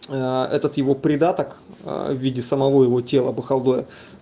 этот его придаток в виде самого его тела бухалдоя